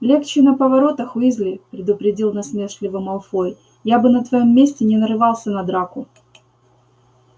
легче на поворотах уизли предупредил насмешливо малфой я бы на твоём месте не нарывался на драку